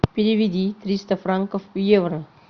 переведи триста франков в евро